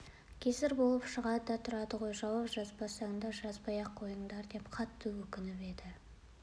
кесір болып шығады да тұрады ғой жауап жазбасаңдар жазбай-ақ қойыңдар деп қатты өтініп еді